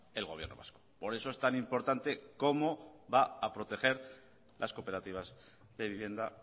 el gobierno vasco por eso es tan importante cómo va a proteger las cooperativas de vivienda